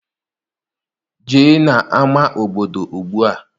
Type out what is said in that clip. Jee n'ama obodo ugbua!